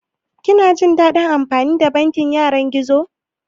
Kina jin daɗin amfani da bankin yanar gizo?